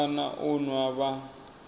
fana na u nwa vha